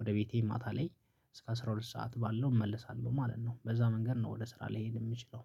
ወደ ቤቴ ማታ ላይ እስከ አስራ ሁለት ሰዓት ባለው እመልሳለሁ ማለት ነው። በዛ መንገድ ነው ወደ ስራ ሊሄድ የምችለው።